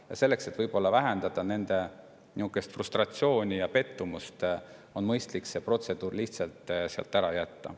Ja selleks, et inimeste frustratsiooni ja pettumust vältida, on mõistlik see protseduur lihtsalt ära jätta.